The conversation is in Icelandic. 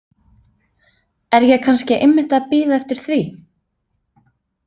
Er ég kannski einmitt að bíða eftir því?